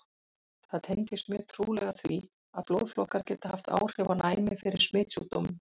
Það tengist mjög trúlega því, að blóðflokkar geta haft áhrif á næmi fyrir smitsjúkdómum.